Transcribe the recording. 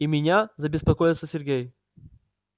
и меня забеспокоился сергей